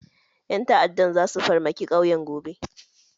Ƴan ta'addan zasu farmaki ƙauyen gobe.